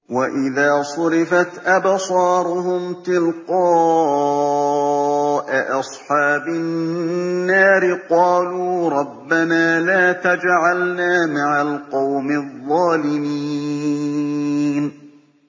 ۞ وَإِذَا صُرِفَتْ أَبْصَارُهُمْ تِلْقَاءَ أَصْحَابِ النَّارِ قَالُوا رَبَّنَا لَا تَجْعَلْنَا مَعَ الْقَوْمِ الظَّالِمِينَ